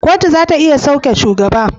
Kotu zata iya sauke shugaba